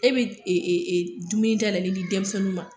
E bɛ dumuni taala ka di denmisɛnninw ma